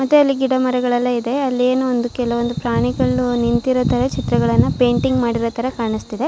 ಮತ್ತೆ ಅಲ್ಲಿ ಗಿಡಮರಗಳು ಎಲ್ಲ ಇದೆ ಅಲ್ಲಿ ಏನೋ ಒಂದು ಕೆಲವೊಂದು ಪ್ರಾಣಿಗಳು ನಿಂತಿರೋ ತರ ಚಿತ್ರಗಳನ್ನ ಪೇಂಟಿಂಗ್ ಮಾಡಿರೋ ತರ ಕಾಣಿಸ್ತಿದೆ.